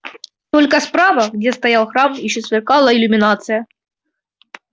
только справа где стоял храм ещё сверкала иллюминация